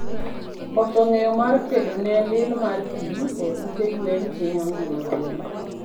Koso ngeye mar kedone lil mar pii e ute gwen hinyo ngima gwen